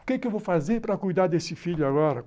O que eu vou fazer para cuidar desse filho agora?